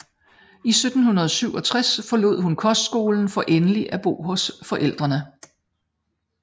I 1767 forlod hun kostskolen for endelig at bo hos forældrene